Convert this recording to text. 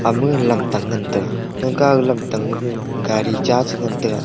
ama gag lamtang ngantaga thonka aga lamtang ma gag gari cha chi ngantaga.